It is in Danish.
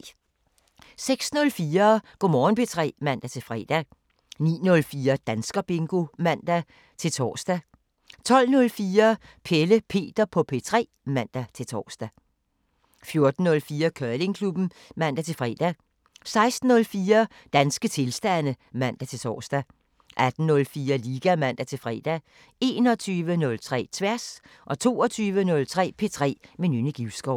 06:04: Go' Morgen P3 (man-fre) 09:04: Danskerbingo (man-tor) 12:04: Pelle Peter på P3 (man-tor) 14:04: Curlingklubben (man-fre) 16:04: Danske tilstande (man-tor) 18:04: Liga (man-fre) 21:03: Tværs 22:03: P3 med Nynne Givskov